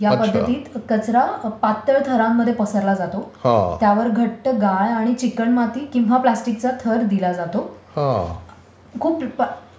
ह्या पद्धतीत कचरा पातळ थरांमध्ये पसरला जातो, त्यावर घट्ट गाळ, चिकणमाती किंवा प्लास्टिकचा थर दिला जातो.